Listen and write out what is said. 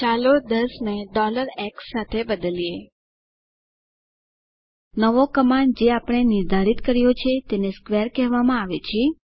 ચાલો 10 ને x દ્વારા બદલીએ નવો કમાન્ડ જે આપણે નિર્ધારિત કર્યો છે તેને સ્ક્વેર કહેવામાં આવે છે